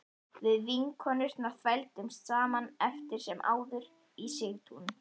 Við vinkonurnar þvældumst saman eftir sem áður í Sigtún